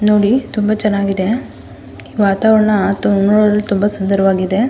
ನೋಡಿ ತುಂಬಾ ಚೆನ್ನಾಗಿದೆ ಈ ವಾತಾವರಣ ನೋಡಲು ತುಂಬಾ ಸುಂದರವಾಗಿದೆ.